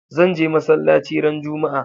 Zan je masallaci ran juma'a